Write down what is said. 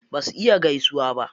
Basu iya gaisuwa ba.